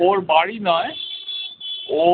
ওর বাড়ি নয় ও